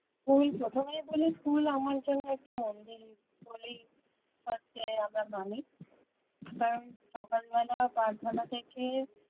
school প্রথমেই বলি school আমার জন্যে একটা মন্দির বলেই first এ আমরা মানি কারণ সকাল বেলা প্রার্থনা থেকে